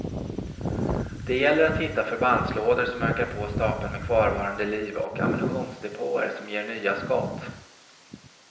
Det gäller att hitta förbandslådor som ökar på stapeln med kvarvarande liv och ammunitionsdepåer som ger nya skott.